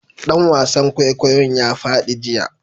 Dan wasan kwaikwayon ya fadi jiya